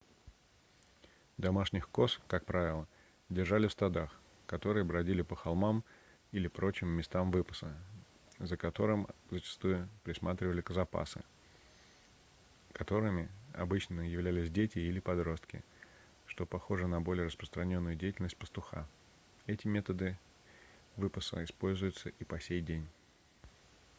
домашних коз как правило держали в стадах которые бродили по холмам или прочим местам выпаса за которым зачастую присматривали козопасы которыми обычно являлись дети или подростки что похоже на более распространённую деятельность пастуха эти методы выпаса используются и по сей день